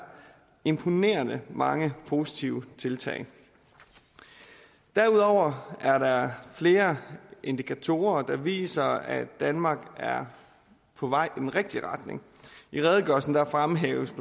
imponerende mange positive tiltag derudover er der flere indikatorer der viser at danmark er på vej i den rigtige retning i redegørelsen fremhæves